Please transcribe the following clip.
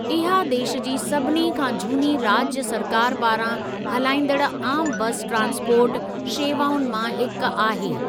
इहा देश जी सभिनी खां झूनी राज्य सरकार पारां हलाइजंदड़ आमु बस ट्रांसपोर्ट शेवाउनि मां हिक आहे।